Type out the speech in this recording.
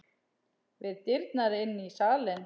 Við dyrnar inn í salinn.